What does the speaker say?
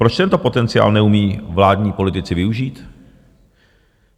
Proč tento potenciál neumí vládní politici využít?